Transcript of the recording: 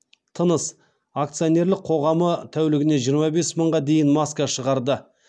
тыныс акционерлік қоғамы тәулігіне жиырма бес мыңға дейін маска шығарды